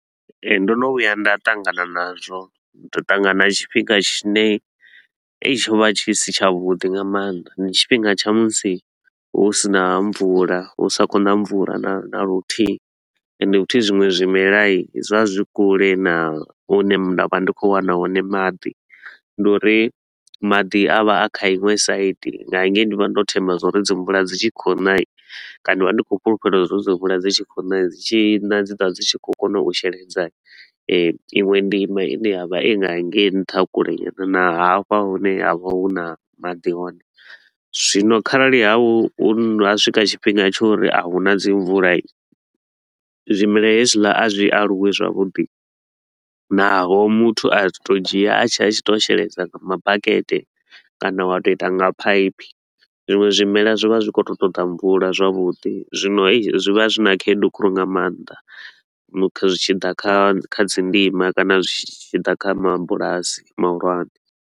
Ee ndo no vhuya nda ṱangana nazwo, u to u ṱangana na tshifhinga tshine ei tsho vha tshi si tsha vhuḓi nga maanḓa. Ndi tshifhinga tsha musi hu si na mvula, hu sa khou na mvula na na luthihi, ende futhi zwiṅwe zwimela hii zwo vha zwi kule na hune nda vha ndi khou wana hone maḓi. Ndi uri maḓi a vha a kha iṅwe side nga hengei ndi vha ndo themba zwa uri dzi mvula dzi tshi khou na hii. Kana ndi vha ndi khou fhulufhela uri dzi mvula dzi tshi khou na hii dzi tshi na dzi ḓo vha dzi tshi khou kona u sheledza iṅwe ndima i ne ya vha i nga hangei nṱha kule na hafha hune ha vha hu na maḓi hone. Zwino kharali ha hu ha swika tshifhinga tsha uri a huna dzi mvula, zwimelwa hezwiḽa a zwi aluwi zwavhuḓi, naho muthu a tshi to u dzhia a tshi a tshi to u sheledza nga mabakete kana wa to u ita nga phaiphi. Zwiṅwe zwimelwa zwi vha zwi khou to u ṱoḓa mvula zwavhuḓi, zwino zwi vha zwi na khaedu khulu nga maanḓa zwi tshi ḓa kha kha dzi ndima kana zwi tshi ḓa kha mabulasi mahulwane